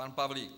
Pan Pavlík.